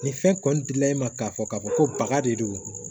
Nin fɛn kɔni dila e ma k'a fɔ k'a fɔ ko baga de don